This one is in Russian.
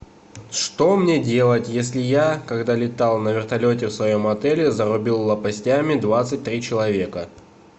что мне делать если я когда летал на вертолете в своем отеле зарубил лопастями двадцать три человека